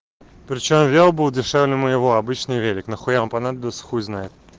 причём вёл был дешевле моего обычный велик нахуя он понадобился хуй знает